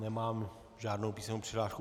Nemám žádnou písemnou přihlášku.